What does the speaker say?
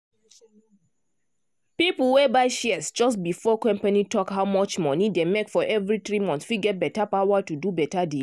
people wey buy shares just before company talk how much money dem make for every 3 months fit get better power to do beta deal